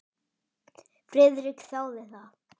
Friðrik þáði það.